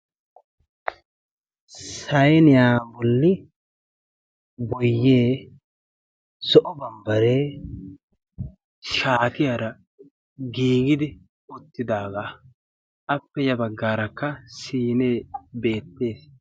sayniyaa bolli boyyee, zo7o bambbaree shaatiyaara giigidi uttidaagaa. appe ya baggaarakka siinee beettees.